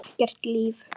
Ekkert líf.